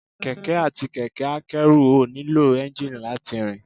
Kẹ̀kẹ́ àti kẹ̀kẹ́ a kẹ́rù ò nílò Ẹ́ńjíìnì láti rìn